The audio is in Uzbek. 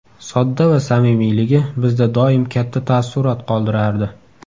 Sodda va samimiyligi bizda doim katta taassurot qoldirardi.